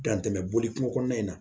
Dan tɛmɛ boli kun kɔnɔna in na